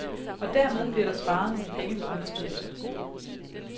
Og dermed bliver der sparet nogle penge på understøttelse.